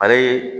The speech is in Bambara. Ale